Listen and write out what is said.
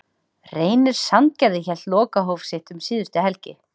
Reynir Sandgerði hélt lokahóf sitt um síðustu helgi.